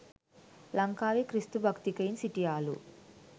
ලංකාවේ ක්‍රිස්තු භක්තිකයින් සිටියාලු